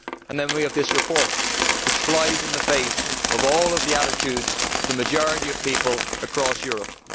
And then we have this report which flies in the face of all of the attitudes of the majority of people across Europe.